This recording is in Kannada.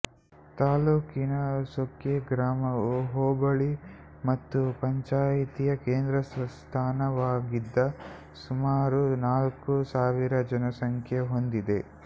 ತಾಲೂಕಿನ ಸೊಕ್ಕೆ ಗ್ರಾಮವು ಹೋಬಳಿ ಮತ್ತು ಪಂಚಾಯಿತಿಯ ಕೇಂದ್ರ ಸ್ಥಾನವಾಗಿದ್ದು ಸುಮಾರು ನಾಲ್ಕು ಸಾವಿರ ಜನಸಂಖ್ಯೆ ಹೊಂದಿದೆ